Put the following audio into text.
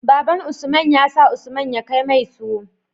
Baban usman ya sa usman ya kai mai tuwo